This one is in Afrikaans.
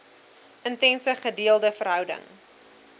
intense gedeelde verhouding